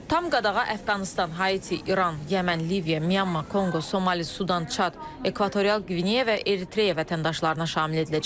Tam qadağa Əfqanıstan, Haiti, İran, Yəmən, Liviya, Myanma, Konqo, Somali, Sudan, Çad, Ekvatorial Qvineya və Eritreya vətəndaşlarına şamil ediləcək.